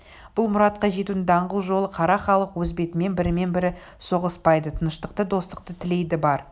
бұл мұратқа жетудің даңғыл жолы қара халық өз бетімен бірімен бірі соғыспайды тыныштықты достықты тілейді бар